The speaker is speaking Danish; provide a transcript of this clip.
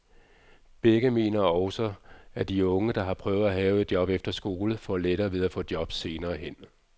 Begge mener også, at de unge, der har prøvet at have et job efter skole, får lettere ved at få et job senere hen.